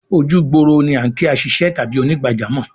Ojúgbòrò ni à n kí àṣìṣẹ́ tàbí ònìgbàjọ́mọ̀